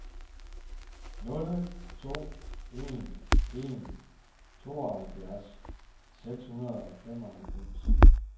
nul to en en tooghalvfjerds seks hundrede og femoghalvfems